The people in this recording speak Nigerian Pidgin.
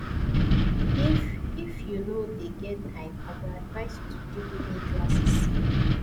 if if you no dey get time i go advice you to do evening classes